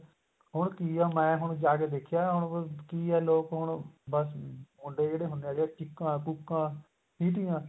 ਹੁਣ ਕੀ ਏ ਮੈਂ ਹੁਣ ਜਾ ਕੇ ਦੇਖਿਆ ਹੁਣ ਕੀ ਹੈ ਲੋਕ ਹੁਣ ਬੱਸ ਮੁੰਡੇ ਜਿਹੜੇ ਹੁੰਦੇ ਹੈਗੇ ਚੀਕਾਂ ਕੁੱਕਾਂ ਸਿਟੀਆਂ